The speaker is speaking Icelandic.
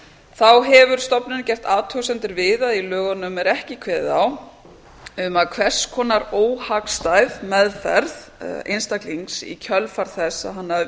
þá hefur stofnunin gert athugasemdir við að í lögunum er ekki kveðið á um að hvers konar óhagstæð meðferð einstaklings í kjölfar þess að hann hafi